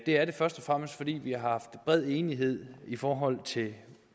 er det først og fremmest fordi vi har haft bred enighed i forhold til